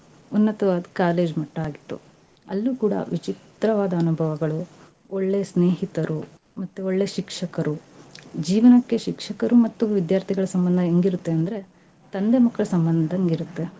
ಉನ್ನತವಾದ college ಮಟ್ಟಾ ಆಗಿತ್ತು. ಅಲ್ಲೂ ಕೂಡಾ ವಿಚಿತ್ರವಾದ ಅನುಭವಗಳು, ಒಳ್ಳೆಯ ಸ್ನೇಹಿತರು, ಮತ್ತೆ ಒಳ್ಳೆ ಶಿಕ್ಷಕರು, ಜೀವ್ನಕ್ಕೆ ಶಿಕ್ಷಕರು ಮತ್ತು ವಿದ್ಯಾರ್ಥಿಗಳ ಸಂಬಂಧ ಹೆಂಗಿರತ್ತೆ ಅಂದ್ರೆ, ತಂದೆ ಮಕ್ಳ ಸಂಬಂಧಂಗೆ ಇರತ್ತೆ.